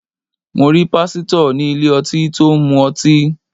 Mo rí Pásítọ̀ ní ilé ọtí tó ń mu ọtí.